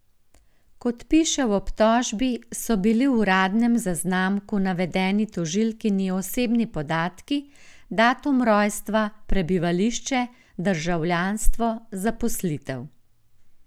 Kot piše v obtožbi, so bili v uradnem zaznamku navedeni tožilkini osebni podatki, datum rojstva, prebivališče, državljanstvo, zaposlitev.